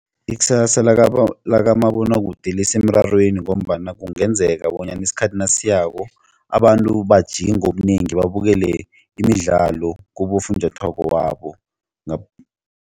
Ikusasa likamabonwakude lisemrarweni ngombana kungenzeka bonyana isikhathi nasiyako abantu bajike ngobunengi babukele imidlalo kibofunjathwako babo.